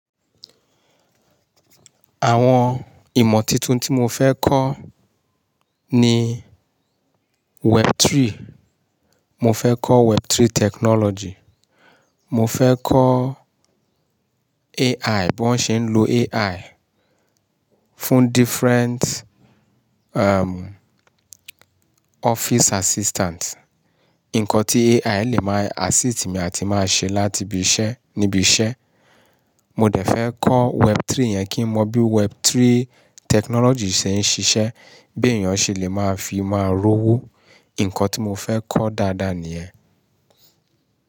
Àwọn ìmọ̀ tuntun tí mo fẹ́ kọ́ ni Web3. Mo fẹ́ kọ́ Web3 technology. Mo fẹ́ kọ́ AI, bí wọ́n ṣe ń lo AI fún different, office assistant. Nǹkan tí AI lè máa assist mi àti máa ṣe láti ibi iṣẹ́ níbi iṣẹ́. Mo dẹ̀ fẹ́ kọ́ Web3 yẹn kí n mọ bí Web3 technology ṣe ń ṣiṣẹ́, bí èèyàn ṣe lè máa fi máa rówó. Ǹkan tí mo fẹ́ kọ́ dáadáa nìyẹn.